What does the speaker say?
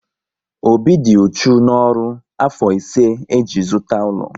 Obi dị uchu n'ọrụ afọ ise e ji zụta ụlọ